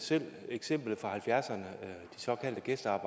tak så er